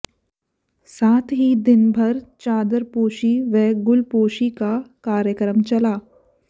साथ ही दिनभर चादरपोशी व गुलपोशी का कार्यक्रम चला